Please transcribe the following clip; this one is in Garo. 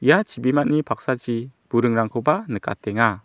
ia chibimani paksachi buringrangkoba nikatenga.